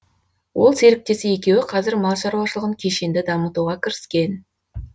ол серіктесі екеуі қазір мал шаруашылығын кешенді дамытуға кіріскен